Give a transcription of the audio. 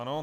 Ano.